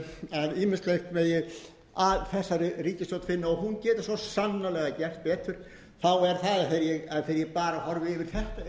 og hún geti sem sannarlega gert betur þá er það að þegar ég bara horfi yfir þetta eina svið